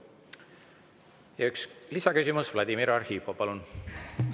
Ja üks lisaküsimus, Vladimir Arhipov, palun!